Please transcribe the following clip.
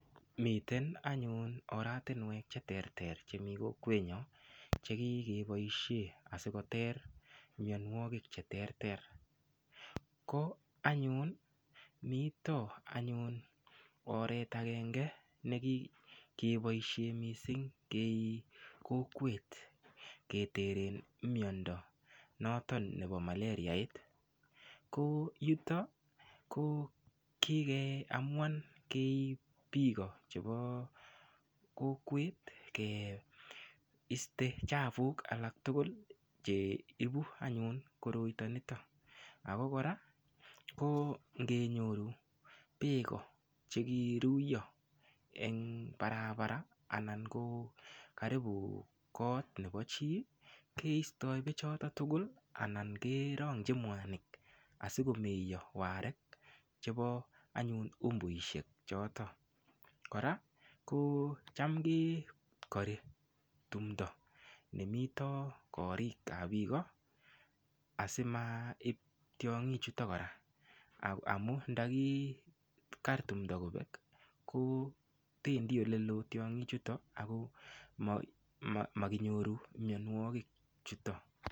Miten anyun oratinwek cheterter chemii kokwenyun chekigopoishe keter mionwogik cheterter ko anyun mito anyun oret agenge nekigepoishe mising' kei kokwet ketere imyondo noton nepo malariait ko yutok ko kigeamuan keip piko chepo kokwet keiste chapuk alak tugul cheipu anyun koroito nitok ako koraa ko ngenyoru peeko chekiruyo eng' parabara anan ko karibu kot nepo chi keistoy peek chotok tugul anan kerong'ji mwanik asikomeyo warek chepo anyun umbuishek chotok koraa cham kekori tumdo nimito korik ab piko asimaip tiong'ik chutok koraa amun ndakikar tumdo kopek kopendi olelo tiong'ik chutok ako makinyoru mionwogik chutok.